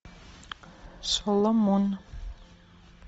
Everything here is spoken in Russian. соломон